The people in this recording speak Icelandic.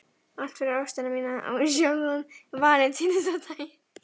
Allt fyrir ástina mína á sjálfan Valentínusardaginn.